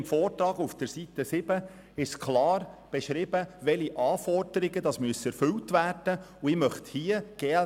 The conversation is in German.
Im Vortrag des Regierungsrats werden auf Seite 7 die Anforderungen, die erfüllt werden müssen, klar beschrieben.